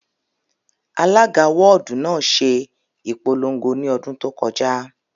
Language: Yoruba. Alága wọ́ọ̀dù náà ṣe ìpolongo ní ọdún tó kọjá